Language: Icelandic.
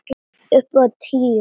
Upp á tíu!